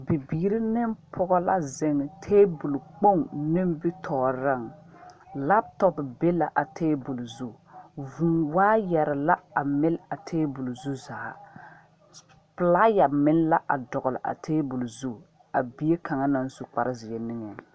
Bibiiri ne pɔge la ziŋ tabol kpoŋ naŋ be nimitɔɔriŋ laptɔpo be la a tabol zu vuu waayire la mile a tabol zu zaa pilaayɛ meŋ la dɔgle a tabol zu a bie kaŋ na su kare zeɛ niŋeŋ.